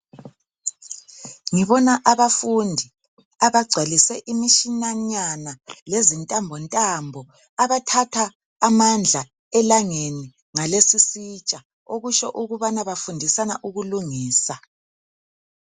Ngibona abafundi abagcwalise imitshananyana lezintambontambo abathatha amandla elangeni ngalesi isitsha okutsho ukubana bafundisana ukulungisa.